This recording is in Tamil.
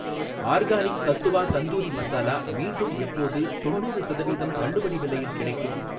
ஆர்கானிக் தத்வா தந்தூரி மசாலா மீண்டும் எப்போது தொண்ணூறு சதவீதம் தள்ளுபடி விலையில் கிடைக்கும்?